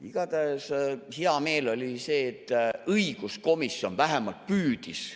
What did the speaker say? Igatahes hea meel on selle üle, et õiguskomisjon vähemalt püüdis.